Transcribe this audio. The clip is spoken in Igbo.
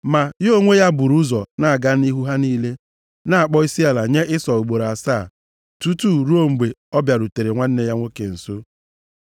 Ma ya onwe ya buru ụzọ na-aga nʼihu ha niile, na-akpọ isiala nye Ịsọ ugboro asaa, tutu ruo mgbe ọ bịarutere nwanne ya nwoke nso.